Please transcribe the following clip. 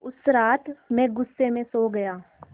उस रात मैं ग़ुस्से में सो गया